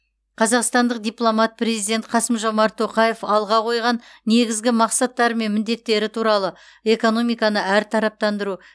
қазақстандық дипломат президент қасым жомарт тоқаев алға қойған негізгі мақсаттары мен міндеттері туралы экономиканы әртараптандыру